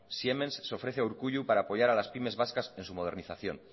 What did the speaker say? siemens se ofrece a urkullu para apoyar a las pymes vascas en su modernización